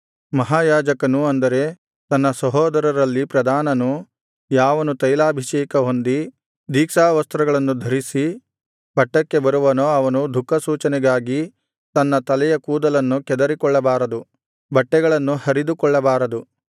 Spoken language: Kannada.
ಮಹಾಯಾಜಕನು ಅಂದರೆ ತನ್ನ ಸಹೋದರರಲ್ಲಿ ಪ್ರಧಾನನು ಯಾವನು ತೈಲಾಭಿಷೇಕಹೊಂದಿ ದೀಕ್ಷಾವಸ್ತ್ರಗಳನ್ನು ಧರಿಸಿ ಪಟ್ಟಕ್ಕೆ ಬರುವನೋ ಅವನು ದುಃಖಸೂಚನೆಗಾಗಿ ತನ್ನ ತಲೆಯ ಕೂದಲನ್ನು ಕೆದರಿಕೊಳ್ಳಬಾರದು ಬಟ್ಟೆಗಳನ್ನು ಹರಿದುಕೊಳ್ಳಬಾರದು